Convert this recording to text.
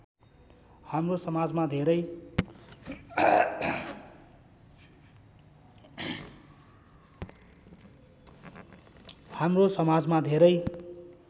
हाम्रो समाजमा धेरै